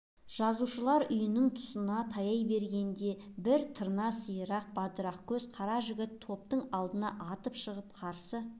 жазушылар үйінің тұсына таяй бергенде бір тырна сирақ бадырақ көзі қара жігіт топтың алдына атып шығып қарсы